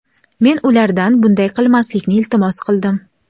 men ulardan bunday qilmaslikni iltimos qildim.